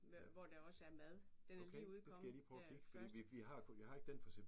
Hvor der også er mad. Den er lige udkommet her først